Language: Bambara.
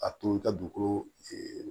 A to i ka dugukolo